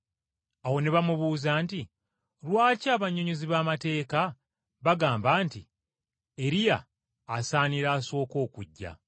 Awo ne bamubuuza nti, “Lwaki abannyonnyozi b’amateeka bagamba nti Eriya asaanira asooke okujja.”